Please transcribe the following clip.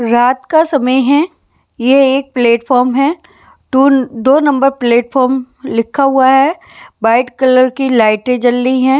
रात का समय है ये एक प्लेटफार्म है टू दो नंबर प्लेटफार्म लिखा हुआ है वाइट कलर की लाइटे जल रही है।